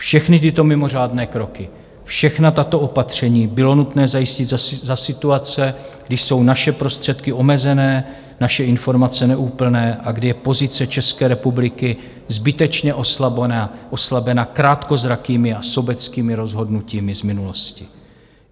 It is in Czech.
Všechny tyto mimořádné kroky, všechna tato opatření bylo nutné zajistit za situace, kdy jsou naše prostředky omezené, naše informace neúplné a kdy je pozice České republiky zbytečně oslabena krátkozrakými a sobeckými rozhodnutími z minulosti.